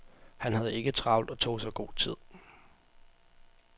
Han havde ikke travlt og tog sig god tid.